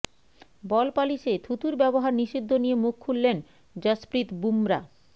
বল পালিশে থুতুর ব্যবহার নিষিদ্ধ নিয়ে মুখ খুললেন জশপ্রীত বুমরা